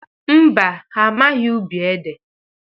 Mba, ha amaghị ubi ede.